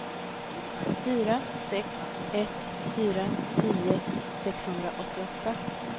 fyra sex ett fyra tio sexhundraåttioåtta